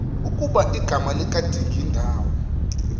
ukuba igama likadingindawo